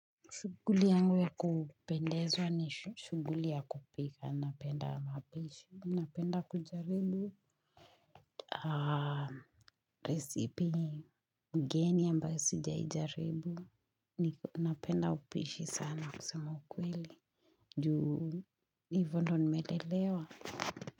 Shuguli yangu ya kupendezwa ni shuguli ya kupika, napenda mapishi, napenda kujaribu resipi geni ambayo sijaijaribu, napenda upishi sana kusema ukweli, juu ivo ndo nimelelewa.